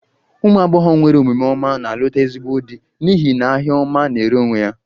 Umu agbogho nwere omume ọma na-alụta ezigbo di n'ihi n'ahia ọma na-ere onwe ya